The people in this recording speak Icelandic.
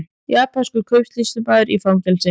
Japanskur kaupsýslumaður í fangelsi